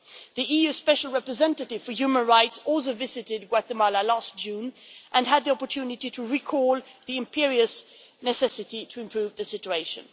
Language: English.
The EU Special Representative for Human Rights also visited Guatemala last June and had the opportunity to recall the imperious necessity to improve the situation.